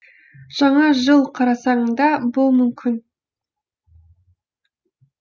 жаңа жыл қарсаңында бұл мүмкін